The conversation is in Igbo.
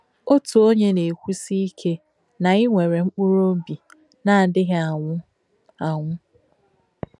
Òtù onyè nà-èkwúsì ìke nà ị nwèrē m̀kpùrù óbì nà-àdíghì ànwū ànwū.